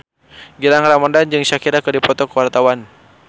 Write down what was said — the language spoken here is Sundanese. Gilang Ramadan jeung Shakira keur dipoto ku wartawan